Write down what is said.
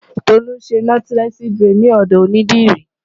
Tolú ń ṣe Nọ́tílẹ́ẹ̀sì buredì ní ọ̀dọ̀ onídìrí.